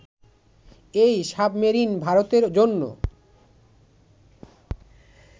এই সাবমেরিন ভারতের জন্য